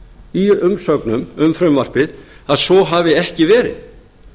í umsögnum um frumvarpið að svo hafi ekki verið